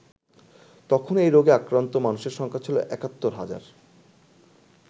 তখন এই রোগে আক্রান্ত মানুষের সংখ্যা ছিল একাত্তর হাজার।